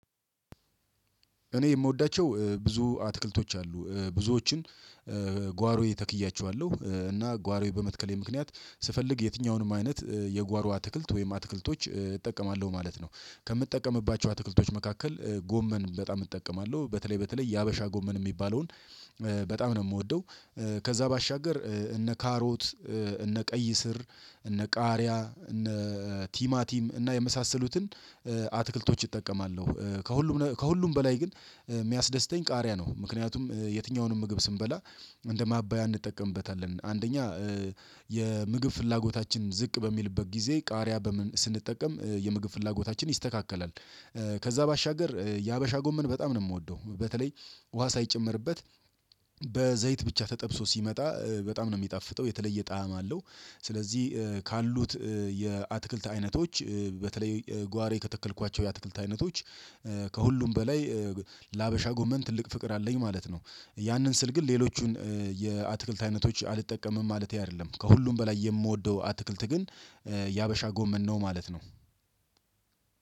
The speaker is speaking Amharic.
እኔ የምወዳቸው ብዙ አትክልቶች አሉ ብዙዎችን ጓሮዬ ተክያቸዋለሁ እና ጓሮዬ በመትከሌ ምክንያት ስፈልግ የትኛውንም አይነት የጓሮ አትክልት ወይም አትክልቶች እጠቀማለሁ ማለት ነው። ከምጠቀምባቸው አትክልቶች መካከል ጎመን በጣም እጠቀማለሁ በተለይ በተለይ የሀበሻ ጎመን የሚባለውን በጣም ነው የምወደው። ከዛ ባሻገር እነ ካሮት እነ ቀይ ስር እነ ቃሪያ እነ ቲማቲም እና የመሳሰሉትን አትክልቶች እጠቀማለሁ። ከሁሉም ከሁሉም በላይ ግን የሚያስደስተኝ ቃሪያ ነው። ምክንያቱም የትኛውንም ምግብ ስንበላ እንደ ማባያ እንጠቀምበታለን አንደኛ የምግብ ፍላጎታችን ዝቅ በሚልበት ጊዜ ቃሪያ በምን ስንጠቀም የምግብ ፍላጎታችን ይስተካከላል። ከዛ ባሻገር የሀበሻ ጎመን በጣም ነው የምወደው በተለይ ውሃ ሳይጨመርበት በዘይት ብቻ ተጠብሶ ሲመጣ በጣም ነው የሚጣፍጠው የተለየ ጣዕም አለው። ስለዚህ ካሉት የአትክልት አይነቶች በተለይ ጓሮ ከተከልኳቸው የአትክልት አይነቶች ከሁሉም በላይ ለሀበሻ ጎመን ትልቅ ፍቅር አለኝ ማለት ነው። ያንን ስል ግን ሌሎቹን የአትክልት አይነቶች አልተጠቀምም ማለቴ አይደለም ከሁሉም በላይ የምወደው አትክልት ግን የሀበሻ ጎመን ነው ማለት ነው።